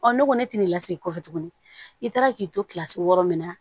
Ɔ ne ko ne tɛna lasegin kɔfɛ tuguni i taara k'i to kilasi wɔɔrɔ min na